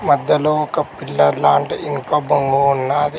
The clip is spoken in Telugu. మధ్యలో ఒక పిల్లర్ లాంటి ఇంకో బొంగు ఉన్నాది.